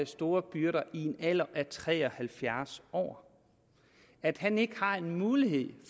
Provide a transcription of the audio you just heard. store byrder i en alder af tre og halvfjerds år at han ikke har mulighed